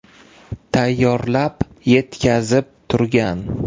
tayyorlab, yetkazib turgan.